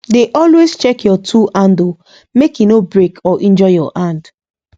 dey always check your tool handle make e no break or injure you hand